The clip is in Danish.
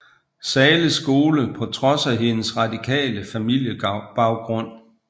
Zahles Skole på trods af hendes radikale familiebaggrund